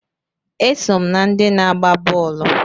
Eso m na ndị na-agba bọọlụ